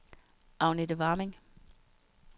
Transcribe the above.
Agnethe Warming